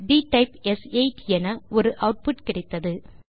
டிடைப் ஸ்8 என ஒரு ஆட்புட் கிடைத்தது